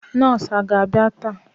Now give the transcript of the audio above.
Nọọsụ aga abia taa?